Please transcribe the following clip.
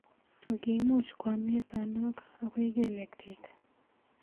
Ak kimuch kwo mnyenotok akoi kelyek chik.